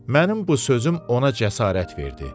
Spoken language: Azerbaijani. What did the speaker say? Mənim bu sözüm ona cəsarət verdi.